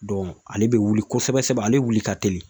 ale bɛ wuli kosɛbɛ sɛbɛ ale wuli ka teli